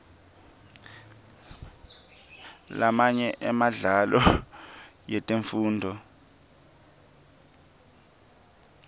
lamanye emidlalo yetemfundvo